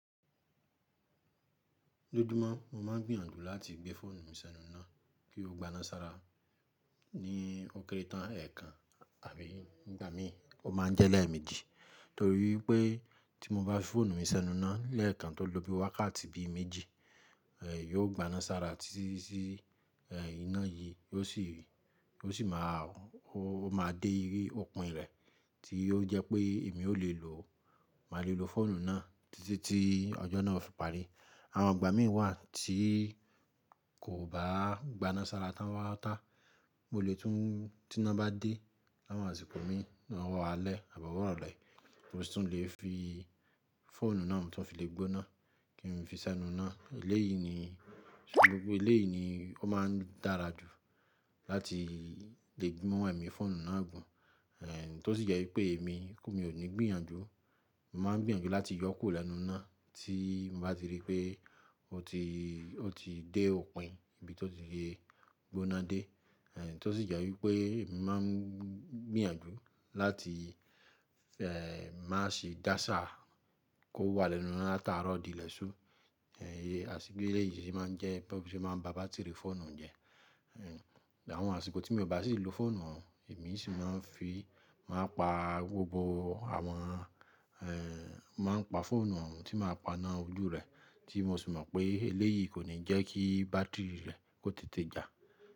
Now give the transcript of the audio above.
Lójúmọ́ mo máa ń gbìyànjú láti gbé fóònù mi sẹ́nu náà kí ó gbaná sára ní ókéré tán èèkàn tàbí nígbà mí o máa ń jẹ́ lẹ́ẹ̀mejì. Torí pé tí mo bá fi fóònù mi sẹ́nu náà lẹ́ẹ̀kan tó lóbi wákàtí bíi méjì, eh, yóò gbaná sára títíti eh iná yií, ó sì, ó sì má a, ó ma dé ìyé òpin rẹ̀ tí ó jẹ́ pé èmi o lè lo, mà lè lo fóònù náà títí tí ọjọ́ náà fi parí. Àwọn ìgbà mìí wà tí kò bá gbaná sára tán pátà pátá, mo lè tún tí iná bá dé láwọn àsìkò mí, lọwọ́ alẹ́ àbọ̀ ọwọ́ ìrọ̀lẹ́, mo sì tún lè fi fóònù náà tí wọn fi le gbóná kí n fi sẹ́nu náà. Eléyìí ni, gbogbo eléyìí ni ó máa ń dára jù láti lè mu èmi fóònù náà gùn. Eh, tó ṣì jẹ́ wípé èmi, mí o ní gbìyànjú, mo máa ń gbìyànjú láti yọ kúrò lẹ́nu náà tí mo bá ti rí pé ó ti, ó ti dé òpin ibi tí ó ti le gbóná dé. Eh tó ṣì jẹ́ wípé mo má ń gbìyànjú láti eh má ṣe dáṣá kó wà lẹ́nu náà láti àárọ̀ di lẹ́sù. Eh, àtìpé eléyìí sì má ń jẹ́ bí ó ṣe má ń ba bátírì fóònù jẹ́. Eh, àwọn àsìkò tí mi o bá ṣì lo fóònù oun, èmi sì má ń fi, màá pa gbogbo àwọn eh màá ń pa fóònù oun, tí màá pana ojú rẹ̀ tí mo ṣì mọ̀ pé eléyìí kò ní jẹ́ kí bátírì rẹ̀ kó tètè jà.